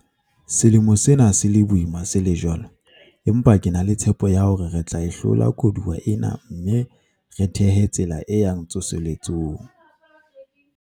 Selemo sena se le boima se le jwalo, empa ke na le tshepo ya hore re tla e hlola koduwa ena mme re thehe tsela e yang tsoseletsong.